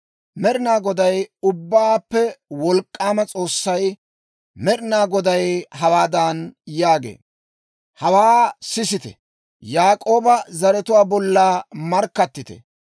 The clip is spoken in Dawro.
Med'inaa Goday, Ubbaappe Wolk'k'aama S'oossay Med'inaa Goday hawaadan yaagee; «Hawaa sisite; Yaak'ooba zaratuwaa bolla markkattite.